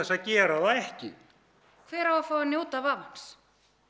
að gera það ekki hver á að njóta vafans